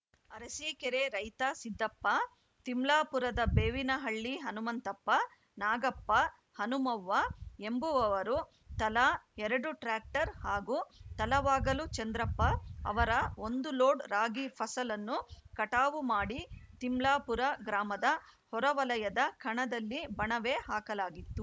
ಅರಸೀಕೆರೆ ರೈತ ಸಿದ್ದಪ್ಪ ತಿಮ್ಲಾಪುರದ ಬೇವಿನಹಳ್ಳಿ ಹನುಮಂತಪ್ಪ ನಾಗಪ್ಪ ಹನುಮವ್ವ ಎಂಬುವವರು ತಲಾ ಎರಡು ಟ್ರಾಕ್ಟರ್‌ ಹಾಗೂ ತಲವಾಗಲು ಚಂದ್ರಪ್ಪ ಅವರ ಒಂದು ಲೋಡ್‌ ರಾಗಿ ಫಸಲನ್ನು ಕಟಾವು ಮಾಡಿ ತಿಮ್ಲಾಪುರ ಗ್ರಾಮದ ಹೊರ ವಲಯದ ಖಣದಲ್ಲಿ ಬಣವೆ ಹಾಕಲಾಗಿತ್ತು